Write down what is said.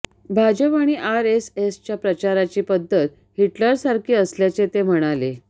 भाजप आणि आरएसएसच्या प्रचाराची पद्धत हिटरलसारखी असल्याचे ते म्हणाले